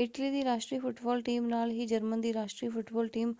Italy ਦੀ ਰਾਸ਼ਟਰੀ football team ਨਾਲ ਹੀ ਜਰਮਨ ਦੀ ਰਾਸ਼ਟਰੀ ਫੁੱਟਬਾਲ ਟੀਮ